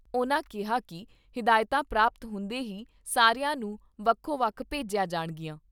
ਉਨ੍ਹਾਂ ਕਿਹਾ ਕਿ ਹਿਦਾਇਤਾਂ ਪ੍ਰਾਪਤ ਹੁੰਦੇ ਹੀ ਸਾਰਿਆਂ ਨੂੰ ਵੱਖੋ ਵੱਖ ਭੇਜੀਆਂ ਜਾਣਗੀਆਂ।